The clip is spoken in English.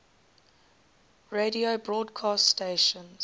radio broadcast stations